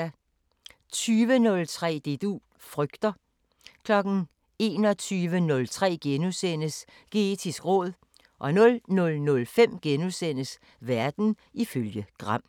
20:03: Det du frygter 21:03: Geetisk råd * 00:05: Verden ifølge Gram *